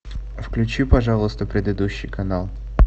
включи пожалуйста предыдущий канал